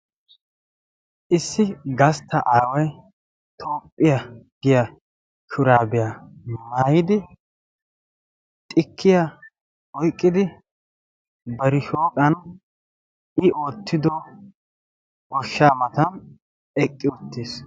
issi gastta aaway toophphiyaa giya shuraabiyaa maayidi xikkiya oyqqidi barishoqan i oottido oshshaa matan eqqi uttiis